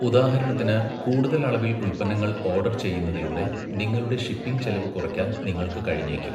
ഉദാഹരണത്തിന്, കൂടുതൽ അളവിൽ ഉൽപ്പന്നങ്ങൾ ഓർഡർ ചെയ്യുന്നതിലൂടെ നിങ്ങളുടെ ഷിപ്പിംഗ് ചെലവ് കുറയ്ക്കാൻ നിങ്ങൾക്ക് കഴിഞ്ഞേക്കും.